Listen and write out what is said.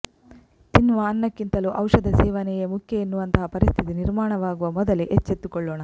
ತಿನ್ನುವ ಅನ್ನಕ್ಕಿಂತಲೂ ಔಷಧ ಸೇವನೆಯೇ ಮುಖ್ಯ ಎನ್ನುವಂತಹ ಪರಿಸ್ಥಿತಿ ನಿರ್ಮಾಣವಾಗುವ ಮೊದಲೇ ಎಚ್ಚೆತ್ತುಕೊಳ್ಳೋಣ